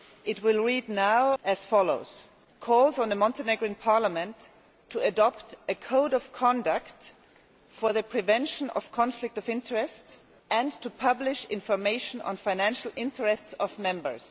It will now read as follows Calls on the Montenegrin Parliament to adopt a code of conduct for the prevention of conflict of interest, and to publish information on financial interests of members'.